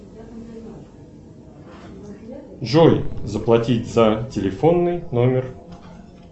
джой заплатить за телефонный номер